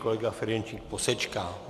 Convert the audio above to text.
Kolega Ferjenčík posečká.